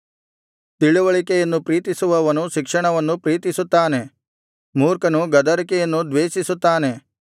ತಿಳಿವಳಿಕೆಯನ್ನು ಪ್ರೀತಿಸುವವನು ಶಿಕ್ಷಣವನ್ನು ಪ್ರೀತಿಸುತ್ತಾನೆ ಮೂರ್ಖನು ಗದರಿಕೆಯನ್ನು ದ್ವೇಷಿಸುತ್ತಾನೆ